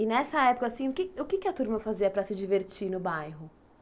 E nessa época assim, o que o que é que a turma fazia para se divertir no bairro?